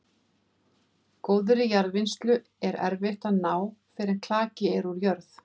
Góðri jarðvinnslu er erfitt að ná fyrr en klaki er úr jörð.